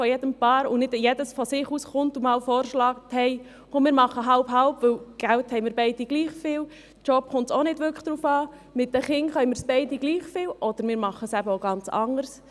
Nicht jeder und jede schlägt von sich aus vor: «Komm, wir machen halbe-halbe, denn Geld haben wir beide gleich viel, und auf den Job kommt es auch nicht wirklich an, und mit den Kindern können wir es beide gleich gut, oder vielleicht machen wir es ganz anders.